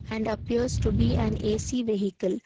and appears to be an AC vehicle.